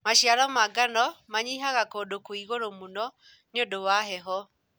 Maciaro ma mangano manyihaga kũndũ kwĩ ĩgũrũ mũno nĩũndũ wa heho.